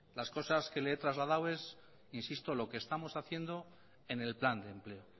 las cosas que le he trasladado es insisto lo que estamos haciendo en el plan de empleo